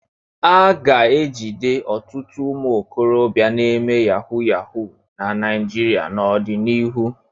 A ga-ejide ọtụtụ ụmụ okorobịa na-eme yahu yahu na Naịjịrịa n'ọdịnihu.